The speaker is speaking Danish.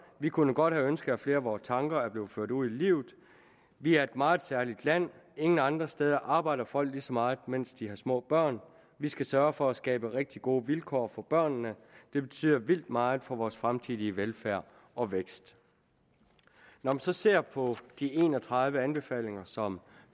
vi kunne godt have ønsket at flere af vores tanker var blevet ført ud i livet vi er et meget særligt land ingen andre steder arbejder folk lige så meget mens de har små børn vi skal sørge for at skabe rigtig gode vilkår for børnene det betyder vildt meget for vores fremtidige velfærd og vækst når vi så ser på de en og tredive anbefalinger som